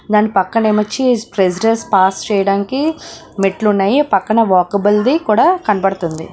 దాని పక్కనేమోచ్చి ప్రెసిడేర్స్ పాస్ చేయడానికి మెట్లు ఉన్నాయి పక్కన వాకబుల్ ది కూడా కనబడుతుంది.